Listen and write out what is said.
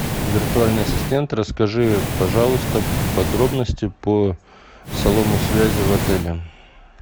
виртуальный ассистент расскажи пожалуйста подробности по салону связи в отеле